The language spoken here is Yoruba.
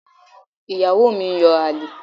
Ìyàwó mi ń yan àlè.